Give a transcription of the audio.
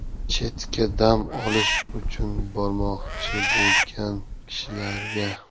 Chetga dam olish uchun bormoqchi bo‘lgan kishilarga.